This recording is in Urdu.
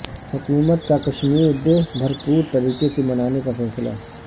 حکومت کا کشمیر ڈے بھرپور طریقے سے منانے کا فیصلہ